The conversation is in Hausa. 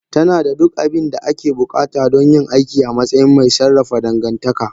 Tana da duk abin da ake buƙata don yin aiki a matsayin mai sarrafa dangantaka.